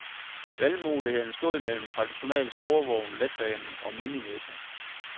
Valgmuligheden stod mellem traditionel sporvogn, letbane og minimetro.